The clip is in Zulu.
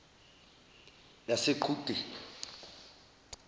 yaseqhudeni